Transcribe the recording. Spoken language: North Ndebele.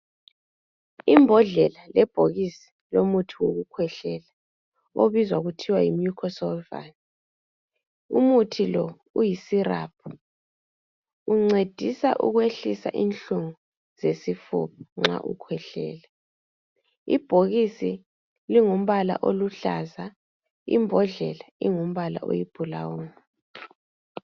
imbodlela lebhokisi lomuthi wokukhwehlela obizwa kuthiwe yi Mucosolwan umuthi lo uyi syrup uncedisa ukwehlisa inhlungubesifuba nxa ukhwehlela ibhokisi lingumbala oluhlaza imbodle ingumbala oyi blawuni